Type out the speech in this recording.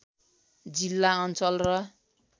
जिल्ला अञ्चल र